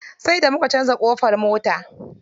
Sai da muka canza ƙofar mota.